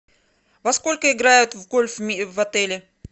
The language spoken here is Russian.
во сколько играют в гольф в отеле